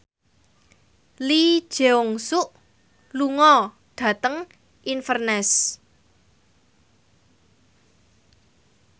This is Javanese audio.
Lee Jeong Suk lunga dhateng Inverness